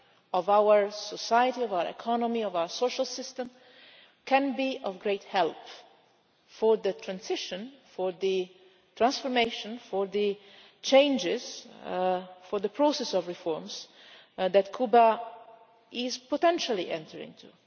of our society, our economy and our social system can be of great help in the transition, the transformation, the changes and the process of reforms that Cuba is potentially entering into.